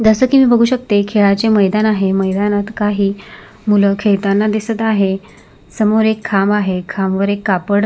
जस की मी बघू शकते खेळाचे मैदान आहे मैदानात काही मुल खेळताना दिसत आहे समोर एक खांब आहे खांब वर एक कापड--